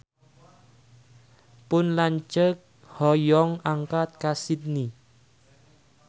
Pun lanceuk hoyong angkat ka Sydney